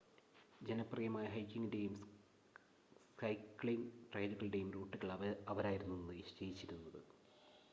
ജനപ്രിയമായ ഹൈക്കിങ്ങിൻ്റെയും സൈക്ക്ലിങ് ട്രയലുകളുടെയും റൂട്ടുകൾ അവരായിരുന്നു നിശ്ചയിച്ചിരുന്നത്